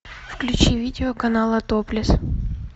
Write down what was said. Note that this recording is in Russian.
включи видео канала топлес